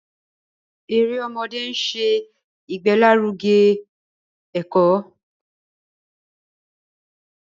Èrè ọmọdé nṣẹ igbelaruge eko.